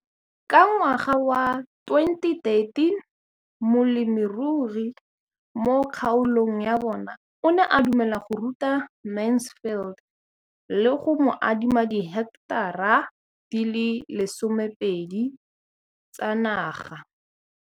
Ka ngwaga wa 2013, molemirui mo kgaolong ya bona o ne a dumela go ruta Mansfield le go mo adima di heketara di le 12 tsa naga.